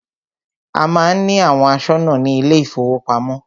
A má ń ní àwọn aṣọ́nà ní ilé ìfọwọ́pamo.